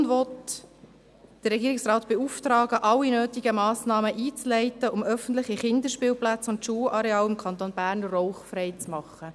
Die Motion will den Regierungsrat beauftragen, alle nötigen Massnahmen einzuleiten, um öffentliche Kinderspielplätze und Schulareale im Kanton Bern rauchfrei zu machen.